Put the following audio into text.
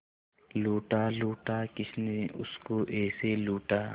लूटा लूटा किसने उसको ऐसे लूटा